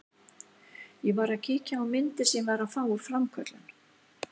Ég var að kíkja á myndir sem ég var að fá úr framköllun.